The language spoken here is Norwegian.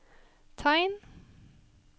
tegn